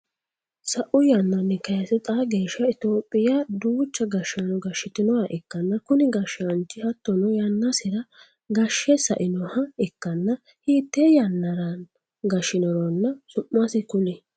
Sa'u yannanni kayise xaa geesha itophiya duucha gashaano gashitinoha ikanna kunni gashaanchi hattono yannasira gashe sainoha ikanna hiite yannara gashinoronna su'masi kuli?